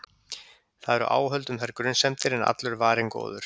Það eru áhöld um þær grunsemdir- en allur er varinn góður.